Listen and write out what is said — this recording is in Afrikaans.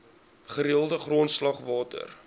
gereelde grondslag water